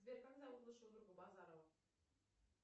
сбер как зовут лучшего друга базарова